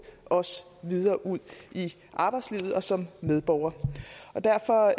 også videre ud i arbejdslivet og som medborger derfor